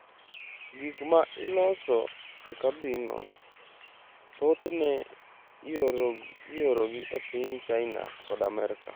Gik ma iloso e kambino, thothne iorogi e piny China kod Amerka.